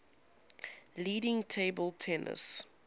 leading table tennis